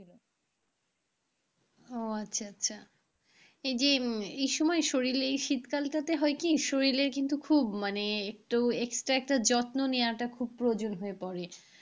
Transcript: ও আচ্ছা আচ্ছা এই যে উম এই সময় শরীলে এই শীতকালটাতে হয় কি শরীলেল কিন্তু খুব মানে extra একটু যত্ন নেওয়াটা খুব প্রয়োজন হয়ে পড়ে।